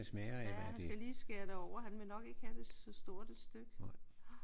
Ja han skal lige skære det over. Han vil nok ikke have det så stort et stykke